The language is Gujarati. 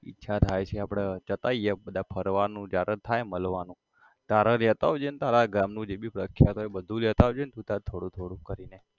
ઈચ્છા થાય છે આપડે જતા આઇએ બધા ફરવાનું જ્યારે થાય મલવાનું ત્યારે લેતો આવજે ને તારા ગામનું જે ભી પ્રખ્યાત હોય બધું લેતા આવજે ન તુ તારે થોડું થોડું કરીને